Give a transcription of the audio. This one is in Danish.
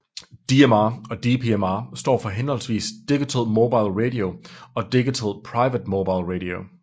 DMR og DPMR står for hhv Digital Mobile Radio og Digital Private Mobile Radio